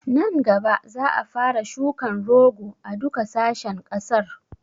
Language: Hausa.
Nan gaba za a fara shukan rogo a duka sashen ƙasar